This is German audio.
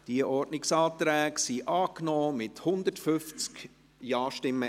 Diese Ordnungsanträge wurden einstimmig angenommen, mit 150 Ja-Stimmen.